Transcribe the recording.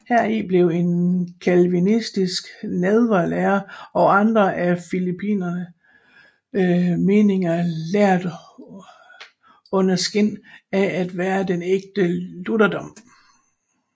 Heri blev en calvinistisk nadverlære og andre af philippisternes meninger lært under skin af at være den ægte lutherdom